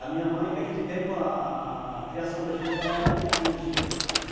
A minha mãe, naquele tempo, a a a criação da gente lá era meio rígida.